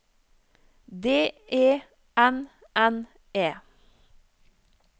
D E N N E